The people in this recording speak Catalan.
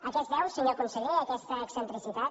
a què es deu senyor conseller aquesta excentricitat